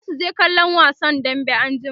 zasu je kallon wasan dambe anjima